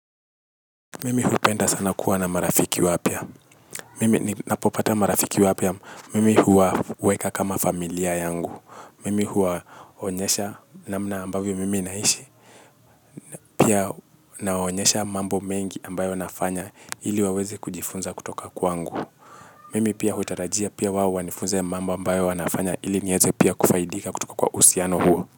Mimi hupenda sana kuwa na marafiki wapya. Mimi ninapopata marafiki wapya. Mimi huwa huweka kama familia yangu. Mimi huwaonyesha namna ambavyo mimi naishi. Pia nawaonyesha mambo mengi ambayo nafanya ili waweze kujifunza kutoka kwangu. Mimi pia hutarajia pia wao wanifunze mambo ambayo wanafanya ili nieze pia kufaidika kutoka kwa uhusiano huo.